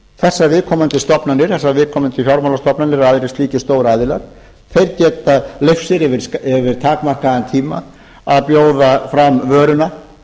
þessar viðkomandi fjármálastofnanir eða aðrir slíkir stóraðilar geta leyft sér yfir takmarkaðan tíma að bjóða fram vöruna